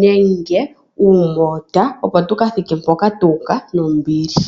nenge okulongitha uumoota, opo tuka thike nombili.